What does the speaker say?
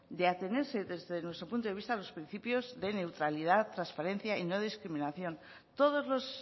de atenerse desde nuestro punto de vista a los principios de neutralidad trasparencia y no discriminación todos los